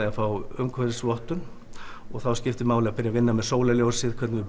fá umhverfisvottun og þá skiptir máli að byrja að vinna með sólarljósið hvernig er